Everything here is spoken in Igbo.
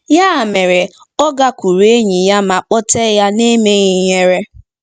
Ya mere, ọ gakwuuru enyi ya ma kpọtee ya n'emeghị ihere.